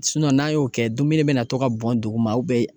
n'an y'o kɛ dumuni bɛ na to ka bɔn duguma